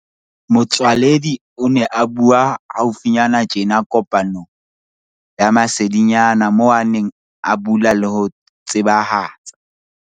Motsoaledi o ne a bua hau finyana tjena kopanong ya masedinyana moo a neng a bula le ho tsebahatsa